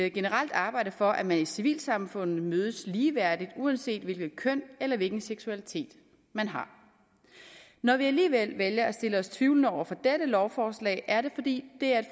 generelt arbejde for at man i civilsamfundet mødes ligeværdigt uanset hvilket køn eller hvilken seksualitet man har når vi alligevel vælger at stille os tvivlende over for dette lovforslag er det fordi det er